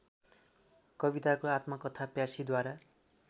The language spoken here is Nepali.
कविताको आत्मकथा प्यासीद्वारा